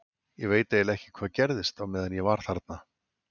Ég veit eiginlega ekki hvað gerðist á meðan ég var þarna.